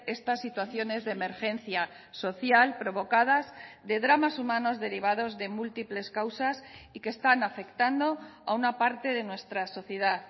estas situaciones de emergencia social provocadas de dramas humanos derivados de múltiples causas y que están afectando a una parte de nuestra sociedad